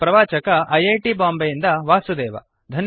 ಇದರ ಪ್ರವಾಚಕ I I T ಬಾಂಬೆಯಿಂದ ವಾಸುದೇವ